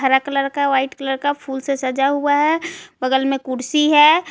Black colour का white colour का फूल से सजा हुआ है बगल में कुर्सी है।